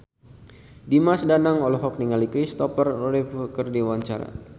Dimas Danang olohok ningali Kristopher Reeve keur diwawancara